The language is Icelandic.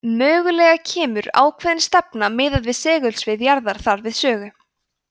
mögulega kemur ákveðin stefna miðað við segulsvið jarðar þar við sögu